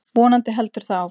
Vonandi heldur það áfram.